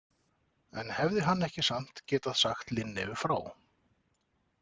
En hefði hann ekki samt getað sagt Linneu frá?